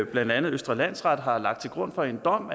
blandt andet østre landsret har lagt til grund for en dom